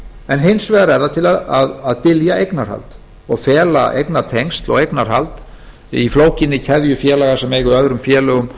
en hins vegar er það til að dylja eignarhald og fela eignatengsl og eignarhald í flókinni keðju félaga sem eiga í öðrum félögum